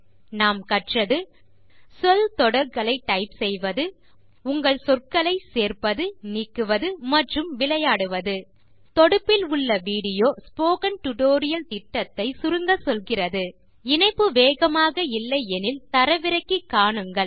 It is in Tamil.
இதில் நாம் கற்றது சொல் தொடர்களை டைப் செய்வது உங்கள் சொற்களை சேர்ப்பது நீக்குவது மற்றும் விளையாடுவது தொடுப்பில் உள்ள விடியோ ஸ்போக்கன் டியூட்டோரியல் திட்டத்தை சுருங்கச்சொல்கிறது இணைப்பு வேகமாக இல்லை எனில் தரவிறக்கி காணுங்கள்